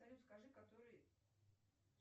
салют скажи который